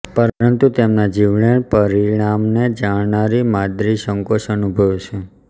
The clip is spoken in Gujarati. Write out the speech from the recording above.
પરંતુ તેના જીવલેણ પરિણામને જાણનારી માદ્રી સંકોચ અનુભવે છે